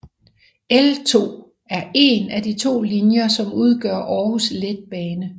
L2 er én af de to linjer som udgør Aarhus Letbane